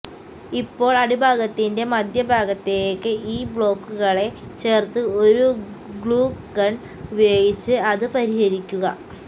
ഇപ്പോൾ അടിഭാഗത്തിന്റെ മധ്യഭാഗത്തേക്ക് ഈ ബ്ലോക്കുകളെ ചേർത്ത് ഒരു ഗ്ലൂ ഗൺ ഉപയോഗിച്ച് അത് പരിഹരിക്കുക